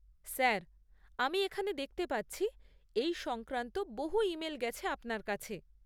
Sir, আমি এখানে দেখতে পাচ্ছি এই সংক্রান্ত বহু ইমেল গেছে আপনার কাছে।